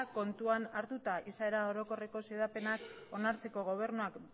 kontuan hartuta izaera orokorreko xedapenak onartzeko gobernuak